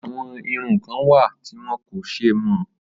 Àwọn irun kan wà tí wọn kò ṣe mọ́